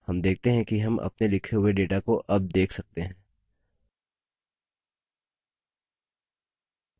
हम देखते हैं कि हम अपने लिखे हुए data को अब देख सकते हैं